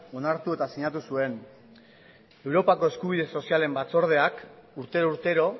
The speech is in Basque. onartu eta sinatu zuen europako eskubide sozialen batzordeak urtero urtero